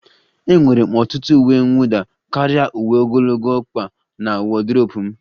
Enwere m ọtụtụ uwe mwụda karịa uwe ogologo ọkpa na wodrobu m